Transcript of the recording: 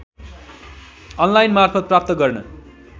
अनलाइनमार्फत प्राप्त गर्न